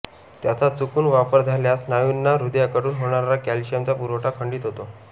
त्याचा चुकून वापर झाल्यास स्नायूंना हृदयाकडून होणारा कॅल्शियमचा पुरवठा खंडित होतो